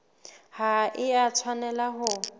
ha e a tshwanela ho